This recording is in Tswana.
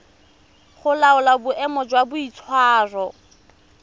go laola boemo jwa boitshwaro